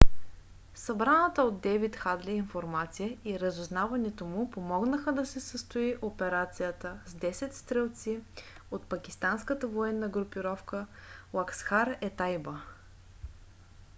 събраната от дейвид хадли информация и разузнаването му помогнаха да се състои операцията с 10 стрелиц от пакистанската военна групировка ласкхар-е-тайба